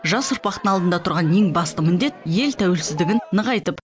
жас ұрпақтың алдында тұрған ең басты міндет ел тәуелсіздігін нығайтып